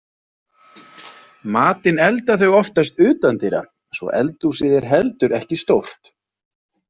Matinn elda þau oftast utandyra svo eldhúsið er heldur ekki stórt.